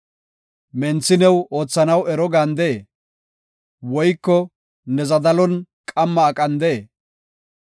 “Menthi new oothanaw ero gandee? Woyko ne zadalon qamma aqandee?